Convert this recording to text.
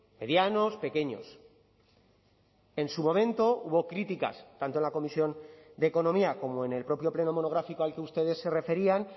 medianos pequeños en su momento hubo críticas tanto en la comisión de economía como en el propio pleno monográfico al que ustedes se referían